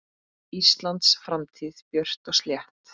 Íslands framtíð björt og slétt.